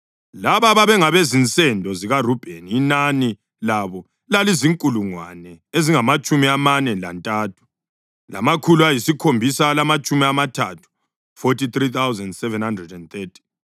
Laba babengabezinsendo zikaRubheni; inani labo lalizinkulungwane ezingamatshumi amane lantathu, lamakhulu ayisikhombisa alamatshumi amathathu (43,730).